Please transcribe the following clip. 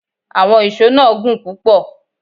Àwọn íṣo náà gùn púpò